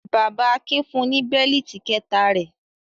Bàbá Akin fun ní bẹ́lítì kẹ̀ta rẹ̀.